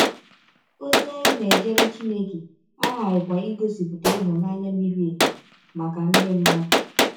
Ọzi anyị na - ejere Chineke aghaghịkwa igọsipụta ịhụnanya miri emi maka ndị mmadụ.